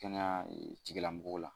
Kɛnɛya tigilamɔgɔw la